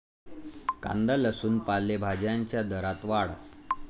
कांदा, लसूण, पालेभाज्यांच्या दरात वाढ